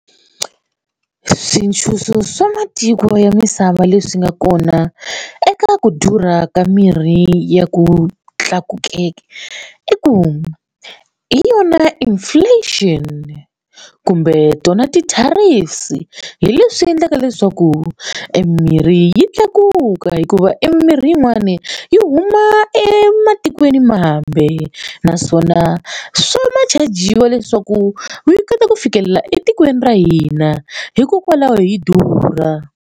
Swintshuxo swa matiko ya misava leswi nga kona eka ku durha ka mirhi ya ku tlakukeke i ku hi yona inflation kumbe tona ti-tariffs hi leswi endlaka leswaku emirhi yi tlakuka hikuva e mirhi yin'wani yi huma ematikwenimambe naswona swa ma chajiwa leswaku yi kota ku fikelela etikweni ra hina hikokwalaho hi durha.